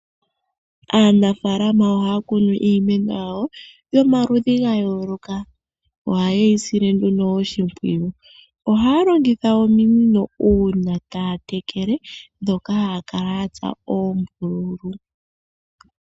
Aanafaalama ohaya kunu iimeno yawo yomaludhi gayooloka. Ohaye yi sile nduno oshimpwiyu. Ohaya longitha ominino uuna taya tekele ndhoka ya tsa oombululu.